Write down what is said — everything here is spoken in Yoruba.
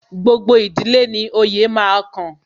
Gbogbo ìdílé ni oyè máa kan